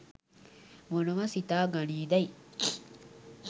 මොනවා සිතා ගනීදැයි